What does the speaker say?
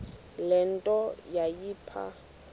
le nto yayipha